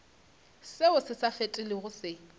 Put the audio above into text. seo se sa felego se